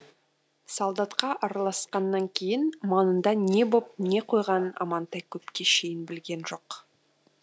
солдатқа араласқаннан кейін маңында не боп не қойғанын амантай көпке шейін білген жоқ